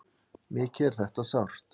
Mikið er þetta sárt.